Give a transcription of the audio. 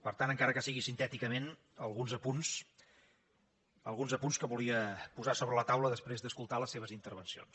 per tant encara que sigui sintèticament alguns apunts que volia posar sobre la taula després d’escoltar les seves intervencions